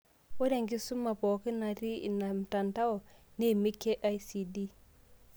Ore enkisuma pookin naatii ina mtandso neimie KICD.